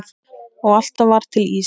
Og alltaf var til ís.